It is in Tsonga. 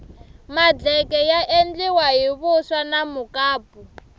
madleke ya endliwa hi vuswa na mukapu